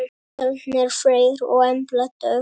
Fjölnir Freyr og Embla Dögg.